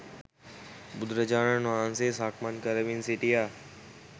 බුදුරජාණන් වහන්සේ සක්මන් කරමින් සිටියා